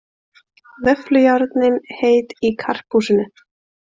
Vöfflujárnin heit í Karphúsinu